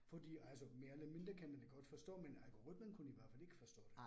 Fordi altså mere eller mindre kan man da godt forstå, men algoritmen kunne i hvert fald ikke forstå det